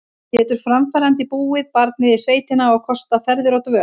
Getur framfærandi búið barnið í sveitina og kostað ferðir og dvöl?